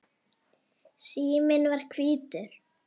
Síminn var hvítur.